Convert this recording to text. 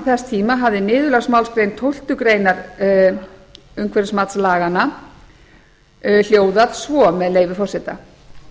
þess tíma hafi niðurlagsmálsgrein tólftu greinar umhverfismatslaganna hljóða svo með leyfi forseta